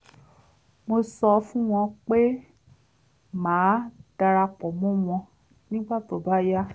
mo sọ fún wọn pé màá dara pọ̀ mọ́ wọn nígbà tó bá yá